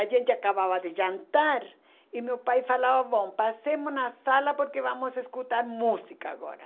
A gente acabava de jantar e meu pai falava, bom, passemos na sala porque vamos escutar música agora.